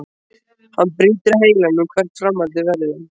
Hann brýtur heilann um hvert framhaldið verði.